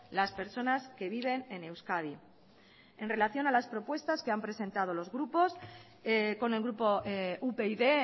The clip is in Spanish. las personas que viven en euskadi en relación a las propuestas que han presentado los grupos con el grupo upyd